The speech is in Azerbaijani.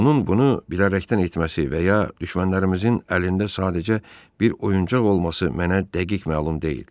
Onun bunu bilərəkdən etməsi və ya düşmənlərimizin əlində sadəcə bir oyuncaq olması mənə dəqiq məlum deyil.